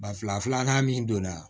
Ba fila filanan min donna